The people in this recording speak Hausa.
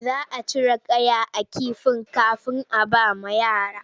Za a cire kaya a kifin kafin a bawa yara.